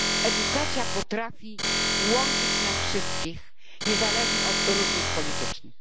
Edukacja potrafi łączyć nas wszystkich niezależnie od różnic politycznych.